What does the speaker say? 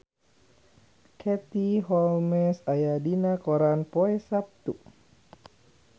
Katie Holmes aya dina koran poe Saptu